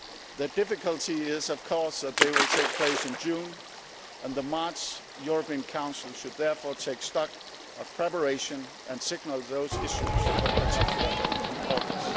The difficulty is, of course, that they will take place in June and the March European Council should therefore take stock of preparation and signal those issues of particular importance.